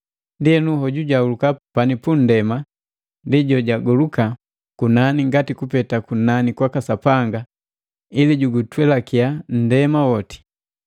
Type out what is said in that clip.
Ndienu, hoju jojahuluka pani punndema ndi jojagoluka kunani ngani kupeta kunani kwaka Sapanga ili jugutwelakiya nndema woti.